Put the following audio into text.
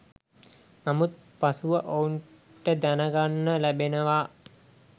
නමුත් පසුව ඔවුන්ට දැනගන්න ලැබෙනවා